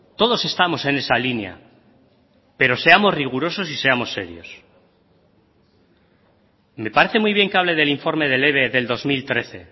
todos estamos en esa línea pero seamos rigurosos y seamos serios me parece muy bien que hable del informe del eve del dos mil trece